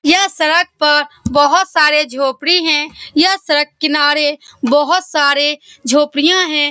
यह सडक पर बहुत सारे झोपड़ी है। यह सड़क किनारे बहुत सारे झोपड़ीया है।